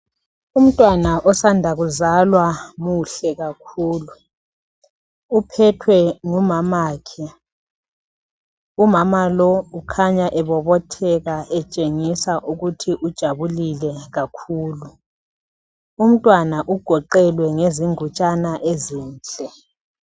Umntwana osanda kuzalwa muhle kakhulu uphethwe ngumamakhe, umama lo ukhanya ebobotheka etshengisa ukuthi ujabulile kakhulu. Umntwana ugoqelwe ngengutshana ezinhle.